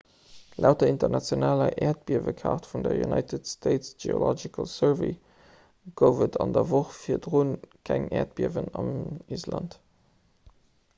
laut der internationaler äerdbiewekaart vun der united states geological survey gouf et an der woch virdru keng äerdbiewen an island